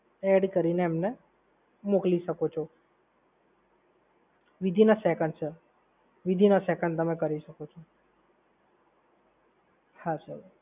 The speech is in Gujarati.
add કરીને તમે એમને મોકલી શકો છો within a second, sir, within a second તમે કરી શકો છો.